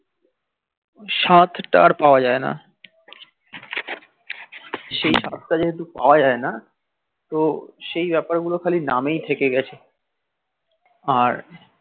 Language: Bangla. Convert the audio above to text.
স্বাদ টা আর পাওয়া যাই না সেই স্বাদ টা যেহেতু পাওয়া যাই না তো সেই বাপার গুল শুধু নামেই থেকে গিএছে আর